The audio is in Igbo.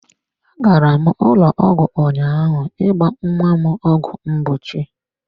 Agara m ụlọ ọgwụ ụnyaahụ ịgba nnwa m ọgwụ mgbochi.